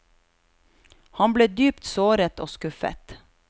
Han ble dypt såret og skuffet.